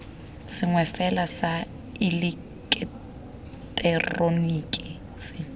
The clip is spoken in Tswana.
sengwe fela sa ileketeroniki se